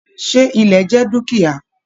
Ṣe ilẹ̀ jẹ dukia?